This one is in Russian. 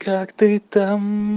как ты там